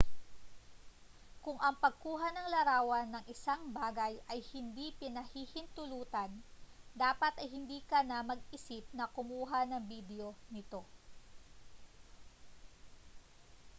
kung ang pagkuha ng larawan ng isang bagay ay hindi pinahihintulutan dapat ay hindi ka na mag-isip na kumuha ng bidyo nito